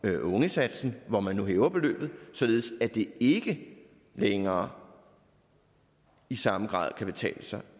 ungesatsen hvor man nu hæver beløbet således at det ikke længere i samme grad kan betale sig